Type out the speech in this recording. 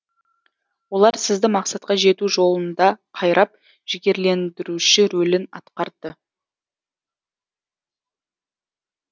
олар сізді мақсатқа жету жолында қайрап жігерлендіруші рөлін атқарды